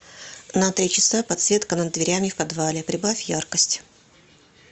на три часа подсветка над дверями в подвале прибавь яркость